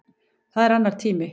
Það er annar tími.